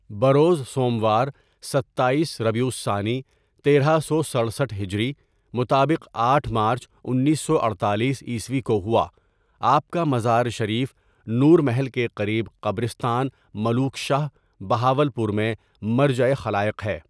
بروزسوموار ستایس ربیع الثانی تیرہ سو سڈرسٹھ ہجری، مطابق آٹھ مارچ انیس سو اڈتالیس عیسوی کوہوا آپ کامزارشریف نورمحل کےقریب قبرستان ملوک شاہ، بہاولپورمیں مرجعِ خلائق ہے.